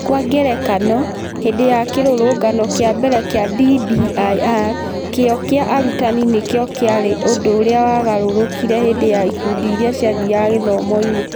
Kwa ngerekano, hĩndĩ ya kĩrũrũngano kĩa mbere kĩa DBIR, kĩyo kĩa arutani nĩ kĩo kĩarĩ ũndũ ũrĩa wagarũrũkire hĩndĩ ya ikundi iria ciathiaga gĩthomo-inĩ.